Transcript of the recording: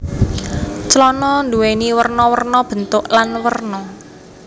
Clana nduwèni werna werna bentuk lan werna